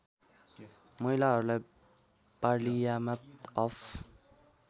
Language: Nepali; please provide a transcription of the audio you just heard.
महिलाहरूलाई पार्लियामाट अफ